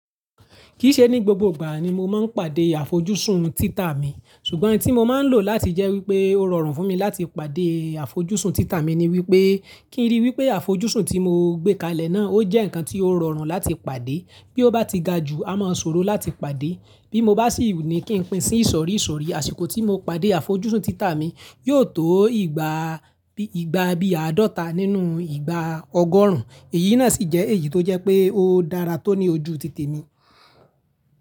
Kìí ṣe ní gbogbo ìgbà ni mo máa ń pàdé àfojúsùn títà mi, ṣùgbọ́n ohun tí mo máa ń lò láti jẹ́ wípé ó rọrùn fún mi láti pàdé àfojúsùn títà mi ni wípé kí n rí wípé àfojúsùn tí mo gbé kalẹ̀ náà ó jẹ́ nǹkan tí ó rọrùn láti pàdé, bí ó bá ti ga jù a máa sòro láti pàdé. Bí mo bá sì wù mí kí n pín sí ìsòrí sórí, àsìkò tí mo pàdé àfojúsùn títà mi yóò tó ìgbà bí àádọ́ta nínú ìgbà ọgọ́rùn-ún. Èyí náà sì jẹ́ èyí tó jẹ́ pé ó dára tó ní ojú tìtì mi.